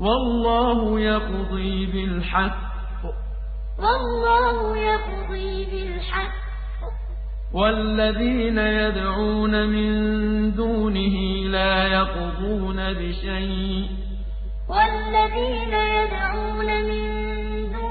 وَاللَّهُ يَقْضِي بِالْحَقِّ ۖ وَالَّذِينَ يَدْعُونَ مِن دُونِهِ لَا يَقْضُونَ بِشَيْءٍ ۗ إِنَّ اللَّهَ هُوَ